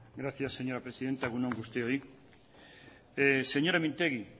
gracias señora presidenta egun on guztioi señora mintegi